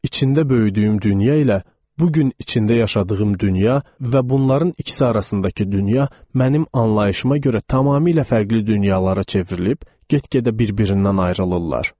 İçində böyüdüyüm dünya ilə bu gün içində yaşadığım dünya və bunların ikisi arasındakı dünya mənim anlayışıma görə tamamilə fərqli dünyalara çevrilib, get-gedə bir-birindən ayrılırlar.